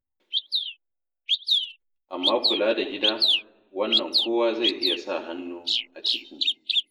Amma kula da gida, wannan kowa zai iya sa hannu a ciki.